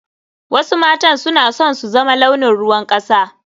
Wasu matan suna son su zama launin ruwan kasa.